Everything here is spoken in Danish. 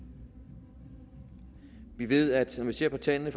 vi ved eksempel ser på tallene